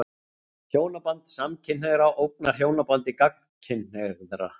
Hjónaband samkynhneigðra ógnar hjónabandi gagnkynhneigðra.